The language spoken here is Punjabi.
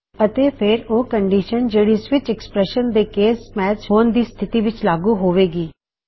ਅਤੇ ਫੇਰ ਓਹ ਕਨਡੀਸ਼ਨ ਜਿਹੜੀ ਸਵਿਚ ਐੱਕਸਪ੍ਰੈਸ਼ਨ ਦੇ ਕੇਸ ਮੈਚ ਹੋਣ ਦੀ ਸਥਿਤੀ ਵਿੱਚ ਲਾਗੂ ਹੋਵੇ ਗੀ